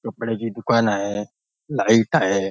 कपड्याची दुकान आहे लाईट आहे.